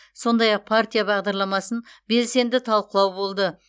сондай ақ партия бағдарламасын белсенді талқылау болды